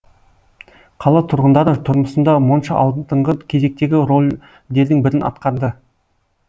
қала тұрғындары тұрмысында монша алдыңғы кезектегі ролдердің бірін атқарды